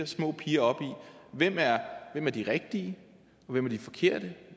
små piger i hvem der er de rigtige og de forkerte